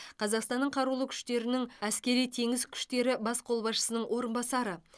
қазақстанның қарулы күштерінің әскери теңіз күштері бас қолбасшысының орынбасары